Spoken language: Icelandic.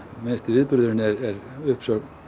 viðburðurinn er uppsögn